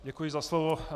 Děkuji za slovo.